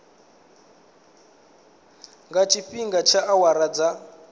nga tshifhinga tsha awara dza